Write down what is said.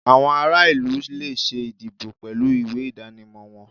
Awọn ara ilu le ṣe ìdíbò pẹlu ìwé idanimọ wọn